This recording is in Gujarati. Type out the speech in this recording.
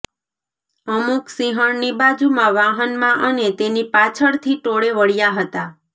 અમુક સિંહણની બાજુમાં વાહનમાં અને તેની પાછળથી ટોળે વળ્યા હતા